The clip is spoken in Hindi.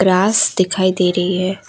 ग्रास दिखाई दे रही है।